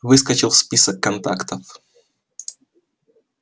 выскочил в список контактов